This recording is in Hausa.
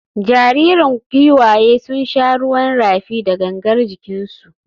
Jaririn giwayen sun sha ruwan rafi da gangar jikinsu.